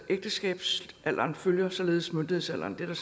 ægteskabsalderen følger således myndighedsalderen det er der